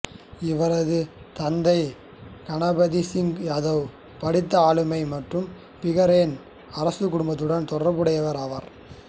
இவரது தந்தை கணபத் சிங் யாதவ் படித்த ஆளுமை மற்றும் பிகானேர் அரச குடும்பத்துடன் தொடர்புடையவர் ஆவார்